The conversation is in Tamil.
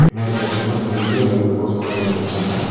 பின்னாடி பாத்திங்கன்னா பெரிய லைட் போஸ்ட் ஒன்னு வெச்சிருக்காங்க.